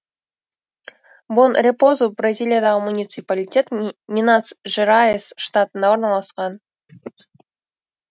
бон репозу бразилиядағы муниципалитет минас жерайс штатында орналасқан